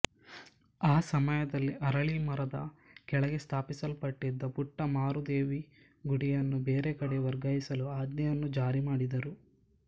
ಆ ಸಮಯದಲ್ಲಿ ಅರಳೀಮರದ ಕೆಳಗೆ ಸ್ಥಾಪಿಸಲ್ಪಟ್ಟಿದ್ದ ಪುಟ್ಟ ಮಾರುದೇವಿ ಗುಡಿಯನ್ನು ಬೇರೆಕಡೆ ವರ್ಗಾಯಿಸಲು ಆಜ್ಞೆಯನ್ನು ಜಾರಿಮಾಡಿದರು